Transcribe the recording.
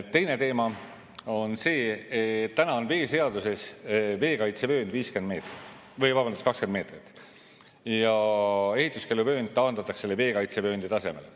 Teine teema on see, et täna on veeseaduses veekaitsevöönd 20 meetrit ja ehituskeeluvöönd taandatakse veekaitsevööndi tasemele.